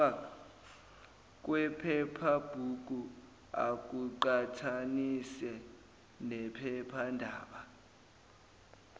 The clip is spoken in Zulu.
kwephephabhuku akuqhathanise nephephandaba